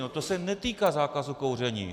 No to se netýká zákazu kouření.